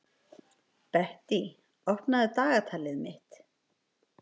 Bettý, opnaðu dagatalið mitt.